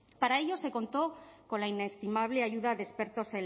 para ello se contó con la inestimable ayuda de expertos